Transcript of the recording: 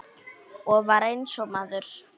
Og var eins og maður.